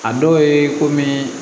A dɔw ye komii